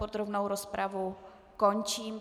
Podrobnou rozpravu končím.